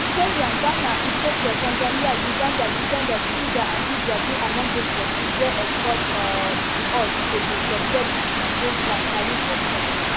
kenya ghana ethiopia tanzania uganda uganda senegal and liberia dey among those kontris wey exports um to us go dey subject to di baseline tariff of ten